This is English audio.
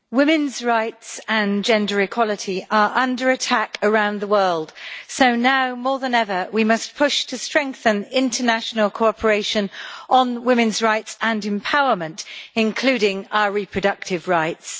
Madam President, women's rights and gender equality are under attack around the world, so now more than ever we must push to strengthen international cooperation on women's rights and empowerment, including our reproductive rights.